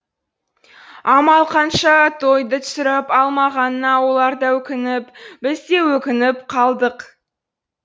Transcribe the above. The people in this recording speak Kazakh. амал қанша тойды түсіріп алмағанына олар да өкініп біз де өкініп қалдық